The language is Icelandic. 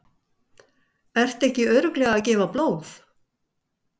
Ertu ekki örugglega að gefa blóð?